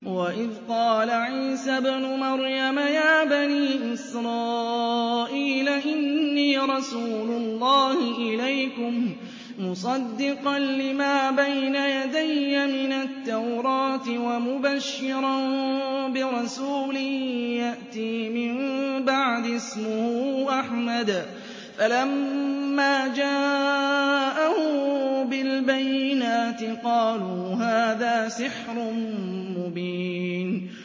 وَإِذْ قَالَ عِيسَى ابْنُ مَرْيَمَ يَا بَنِي إِسْرَائِيلَ إِنِّي رَسُولُ اللَّهِ إِلَيْكُم مُّصَدِّقًا لِّمَا بَيْنَ يَدَيَّ مِنَ التَّوْرَاةِ وَمُبَشِّرًا بِرَسُولٍ يَأْتِي مِن بَعْدِي اسْمُهُ أَحْمَدُ ۖ فَلَمَّا جَاءَهُم بِالْبَيِّنَاتِ قَالُوا هَٰذَا سِحْرٌ مُّبِينٌ